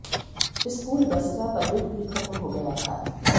school bus का permit भी खत्म हो गया था